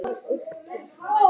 Erla Björk.